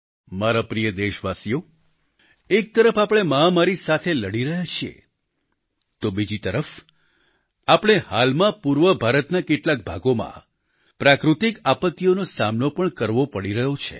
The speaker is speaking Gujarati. મારા પ્રિય દેશવાસીઓ એક તરફ આપણે મહામારી સાથે લડી રહ્યા છીએ તો બીજી તરફ આપણે હાલમાં પૂર્વ ભારતના કેટલાક ભાગોમાં પ્રાકૃતિક આપત્તિઓનો સામનો પણ કરવો પડી રહ્યો છે